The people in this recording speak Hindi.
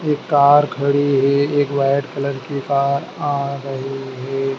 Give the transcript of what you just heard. एक कार खड़ी है एक वाइट कलर की कार आ रही है।